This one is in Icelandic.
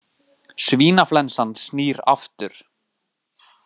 Svínaflensan snýr aftur